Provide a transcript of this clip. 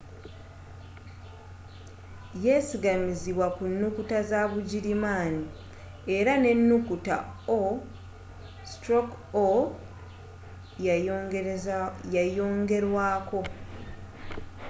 yesigamizibwa ku nukuta za bugirimaani era n'enukuta õ/õ” yayongerwaako